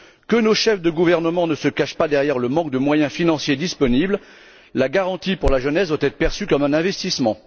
Que nos chefs de gouvernement ne se cachent pas derrière le manque de moyens financiers disponibles la garantie pour la jeunesse doit être perçue comme un investissement.